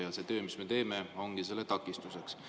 Ja see töö, mida me teeme, ongi selle takistuseks.